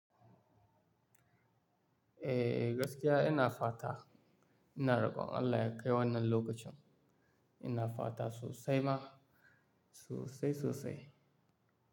Eh gaskiya ina fata ina rokon Allah ya kai wannan lokacin. Ina fata sosai ma, sosai sosai.